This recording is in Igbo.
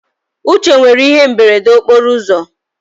Uche nwere ihe imberede okporo ụzọ